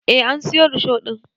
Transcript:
Eh an siyo risho ɗin